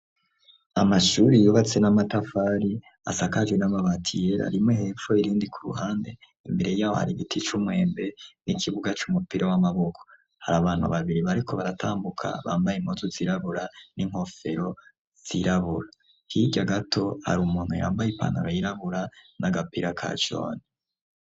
Amashuri yubatswe n'amatafari asakajwe n'amabati yera rimwe hepfo irindi ku ruhande, imbere yaho hari igiti c'umwembe n'ikibuga c'umupira w'amaboko. Hari abantu babiri bariko baratambuka bambaye impuzu zirabura n'inkofero zirabura, hirya gato hari umuntu yambaye ipanara yirabura n'agapira ka jone.